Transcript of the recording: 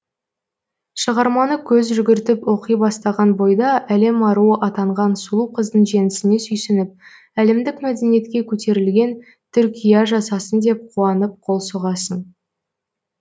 шығарманы көз жүгіртіп оқи бастаған бойда әлем аруы атанған сұлу қыздың жеңісіне сүйсініп әлемдік мәдениетке көтерілген түркия жасасын деп қуанып қол соғасың